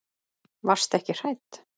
Varstu ekki hrædd?